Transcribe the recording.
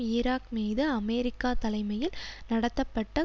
Iraq மீது America தலைமையில் நடத்தப்பட்ட